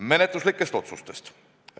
Menetluslikest otsustest.